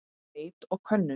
Leit og könnun